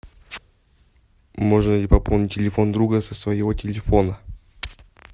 можно ли пополнить телефон друга со своего телефона